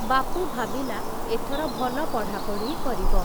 ବାପୁ ଭାବିଲା, ଏଥର ଭଲ ପଢ଼ାପଢ଼ି କରିବ ।